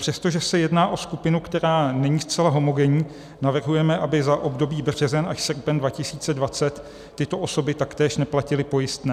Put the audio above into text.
Přestože se jedná o skupinu, která není zcela homogenní, navrhujeme, aby za období březen až srpen 2020 tyto osoby taktéž neplatily pojistné.